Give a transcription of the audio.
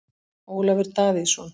Ólafur Davíðsson.